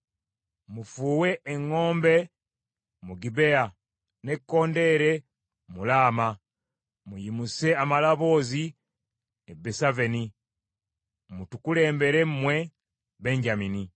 Mufuuwe eŋŋombe mu Gibea, n’ekkondeere mu Laama. Muyimuse amaloboozi e Besaveni; mutukulembere mmwe Benyamini.